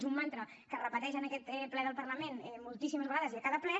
és un mantra que es repeteix en aquest ple del parlament moltíssimes vegades i a cada ple